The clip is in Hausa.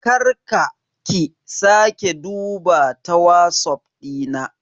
Kar ka/ki sake duba ta WhatsApp Dina.